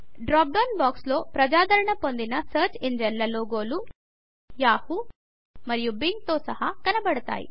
drop down box లో ప్రజాదరణ పొందిన సర్చ్ ఇంజిన్ ల లోగోలు యాహూ మరియు Bingతో సహా కనబడుతాయి